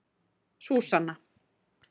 Súsanna